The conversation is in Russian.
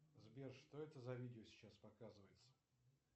сбер что это за видео сейчас показывается